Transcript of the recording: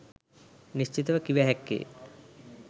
නිශ්චිතව කිව හැක්කේ